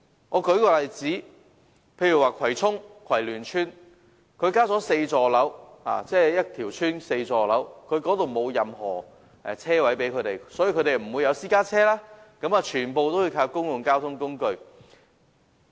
我舉個例子，葵涌的葵聯邨包括4座樓宇，卻沒有任何車位提供，所以居民沒有私家車，全部也要依靠公共交通工具。